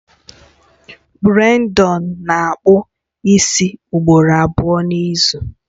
Brandon na-akpụ isi ugboro abụọ n'izu